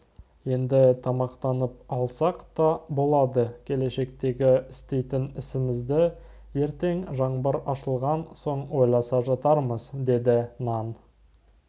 енді тамақтанып алсақ та болады келешектегі істейтін ісімізді ертең жаңбыр ашылған соң ойласа жатармыз деді нан